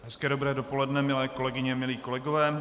Hezké dobré dopoledne, milé kolegyně, milí kolegové.